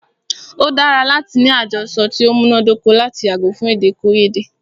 O dára láti ní àjọsọ ti o múná dóko lati yàgò fún èdèkòyédè.